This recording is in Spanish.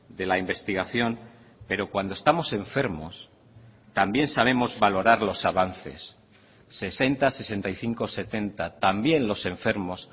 de la investigación pero cuando estamos enfermos también sabemos valorar los avances sesenta sesenta y cinco setenta también los enfermos